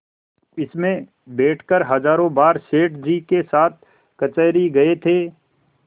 इसमें बैठकर हजारों बार सेठ जी के साथ कचहरी गये थे